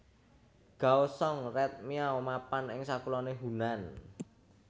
Ghao Xong Red Miao mapan ing sakuloné Hunan